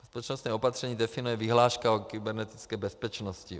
Bezpečnostní opatření definuje vyhláška o kybernetické bezpečnosti.